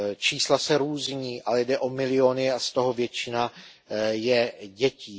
Čísla se různí, ale jde o miliony a z toho většina je dětí.